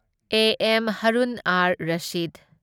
A. M. Harun ar Rashid